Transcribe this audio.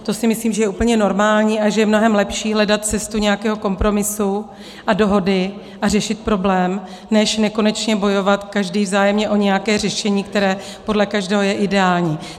To si myslím, že je úplně normální a že je mnohem lepší hledat cestu nějakého kompromisu a dohody a řešit problém, než nekonečně bojovat každý vzájemně o nějaké řešení, které podle každého je ideální.